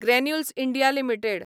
granules India limited